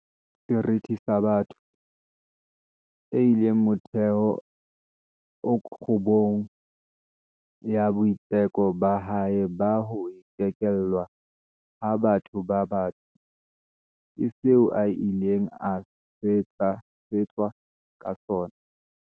Seriti sa botho, e leng motheo o kgubung ya boitseko ba hae ba ho ikelellwa ha batho ba batsho, ke seo a ileng a swetswa ka sona.